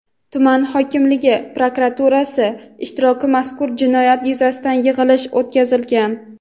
tuman hokimligi va prokuraturasi ishtirokida mazkur jinoyat yuzasidan yig‘ilish o‘tkazilgan.